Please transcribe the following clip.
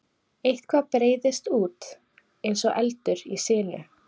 Eitthvað breiðist út eins og eldur í sinu